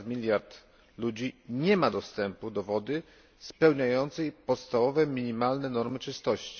ponad miliard ludzi nie ma dostępu do wody spełniającej podstawowe, minimalne normy czystości.